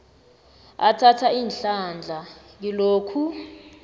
athatha ihlandla kilokhu